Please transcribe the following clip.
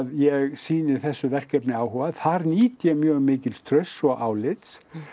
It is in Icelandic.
ég sýni þessu verkefni áhuga þar nýt ég mjög mikils trausts og álits